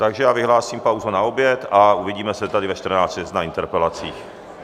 Takže já vyhlásím pauzu na oběd a uvidíme se tady ve 14.30 na interpelacích.